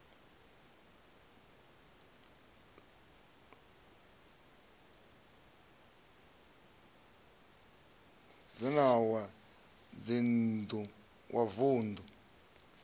wa dzinn ḓu wa vunḓu